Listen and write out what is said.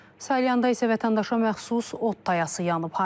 Salyanda isə vətəndaşa məxsus ot tayası yanıb.